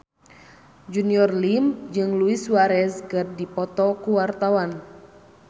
Junior Liem jeung Luis Suarez keur dipoto ku wartawan